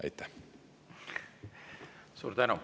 Suur tänu!